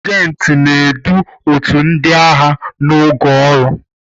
Sajenti na-edu otu ndị agha n'oge ọrụ.